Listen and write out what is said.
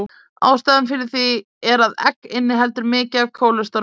Ástæðan fyrir því er að egg innihalda mikið af kólesteróli.